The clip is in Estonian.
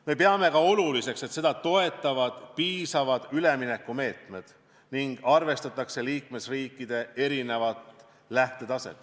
Me peame ka oluliseks, et seda toetavad piisavad üleminekumeetmed ning arvestatakse liikmesriikide erinevat lähtetaset.